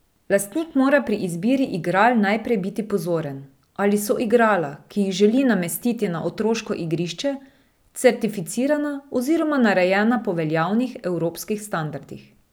Lastnik mora pri izbiri igral najprej biti pozoren, ali so igrala, ki jih želi namestiti na otroško igrišče, certificirana oziroma narejena po veljavnih evropskih standardih.